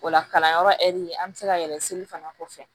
O la kalanyɔrɔ ɛri an bɛ se ka yɛlɛn seli fana kɔfɛ